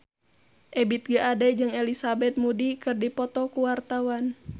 Ebith G. Ade jeung Elizabeth Moody keur dipoto ku wartawan